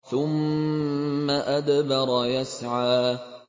ثُمَّ أَدْبَرَ يَسْعَىٰ